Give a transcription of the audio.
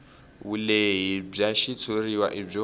vulehi bya xitshuriwa i byo